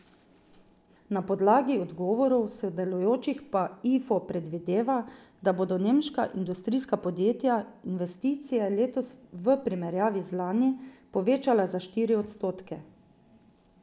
Na podlagi odgovorov sodelujočih pa Ifo predvideva, da bodo nemška industrijska podjetja investicije letos v primerjavi z lani povečala za štiri odstotke.